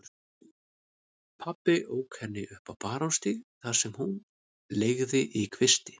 Pabbi ók henni upp á Barónsstíg þar sem hún leigði í kvisti.